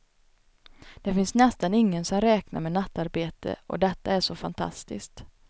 Det finns nästan ingen som räknar med nattarbetare och detta är så fantastiskt.